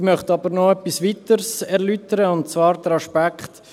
Ich möchte aber noch etwas Weiteres erläutern, und zwar diesen Aspekt: